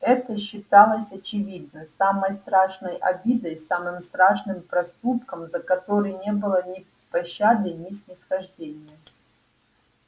это считалось очевидно самой страшной обидой самым страшным проступком за который не было ни пощады ни снисхождения